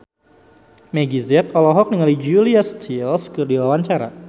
Meggie Z olohok ningali Julia Stiles keur diwawancara